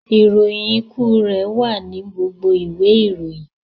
Ìròyìn ikú rẹ wà ní gbogbo ìwé ìròyìn...